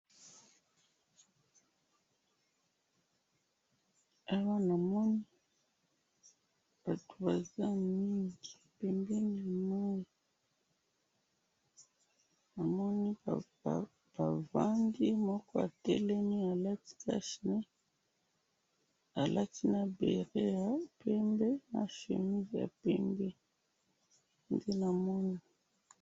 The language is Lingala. awa namoni batu baza mingi pembeni ya mayi namoni bavandi moko atelemi alati cashe nez alati na bere ya pembe na chemise ya pembe nde namoni.